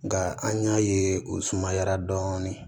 Nka an y'a ye u sumayara dɔɔnin